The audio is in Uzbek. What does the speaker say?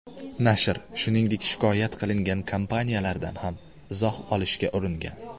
Nashr, shuningdek shikoyat qilingan kompaniyalardan ham izoh olishga uringan.